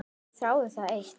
Þráði það eitt.